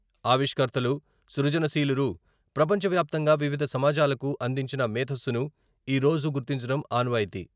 ఆవిష్కర్తలు, సృజనశీలురు ప్రపంచ వ్యాప్తంగా వివిధ సమాజాలకు అందించిన మేధస్సును ఈ రోజు గుర్తించడం ఆనవాయితీ.